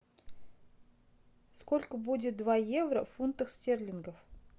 сколько будет два евро в фунтах стерлингов